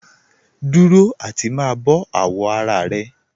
Dúró àti má bọ̀ àwọ̀ ara rẹ̀